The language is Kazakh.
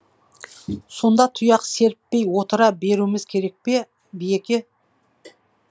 сонда тұяқ серіппей отыра беруіміз керек пе биеке